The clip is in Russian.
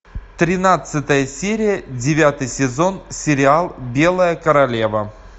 тринадцатая серия девятый сезон сериал белая королева